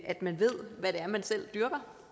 at man ved hvad det er man selv dyrker